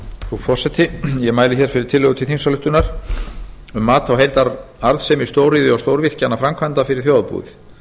frú forseti ég mæli hér fyrir tillögu til þingsályktunar um mat á heildararðsemi stóriðju og stórvirkjanaframkvæmda fyrir þjóðarbúið